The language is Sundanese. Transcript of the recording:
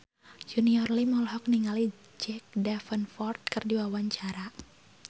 Junior Liem olohok ningali Jack Davenport keur diwawancara